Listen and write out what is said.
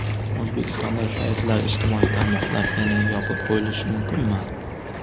O‘zbekistonda saytlar, ijtimoiy tarmoqlar yana yopib qo‘yilishi mumkinmi?.